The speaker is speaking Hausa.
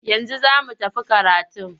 Yanzu za mu tafi karatun?